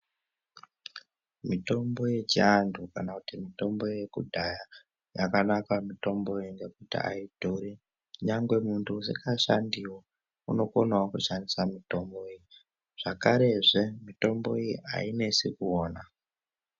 Mitombo yechiantu kana kuti mitombo yekudhaya yakanaka mitomboyo ngekuti aidhuri. Nyangwe munhu usingashandiwo unokonawo kuushandisa mutombowo zvakarezve mitombo iyi ainesi kuona.